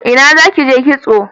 Ina za ki je kitso?